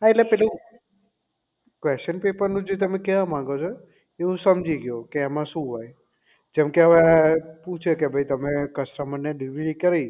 હા એટલે પેલું question paper નું જે તમે કહેવા માંગો છો એ હું સમજી ગયો કે એમાં શું હોય જેમકે અવે પૂછે કે ભાઈ તમે customer ને delivery કરી